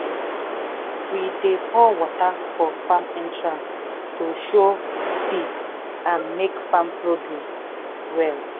we dey pour water for farm entrance to show peace and make farm produce well.